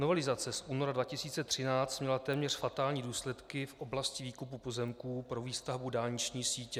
Novelizace z února 2013 měla téměř fatální důsledky v oblasti výkupu pozemků pro výstavbu dálniční sítě.